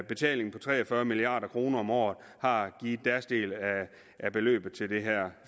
betaling på tre og fyrre milliard kroner om året har givet deres del af beløbet til at det her